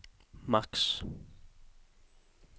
maks